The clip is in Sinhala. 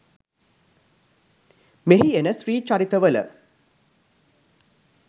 මෙහි එන ස්ත්‍රී චරිත වල